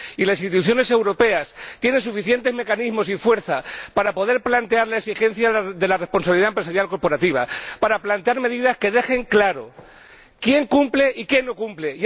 Y las instituciones europeas tienen suficientes mecanismos y fuerza para poder plantear la exigencia de la responsabilidad empresarial corporativa, para plantear medidas que dejen claro quién cumple y quién no cumple.